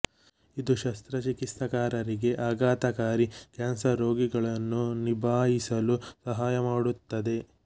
ಇದು ಶಸ್ತ್ರಚಿಕಿತ್ಸಕರಿಗೆ ಆಘಾತಕಾರಿ ಕ್ಯಾನ್ಸರ್ ರೋಗಿಗಳನ್ನು ನಿಭಾಯಿಸಲು ಸಹಾಯ ಮಾಡುತ್ತದೆ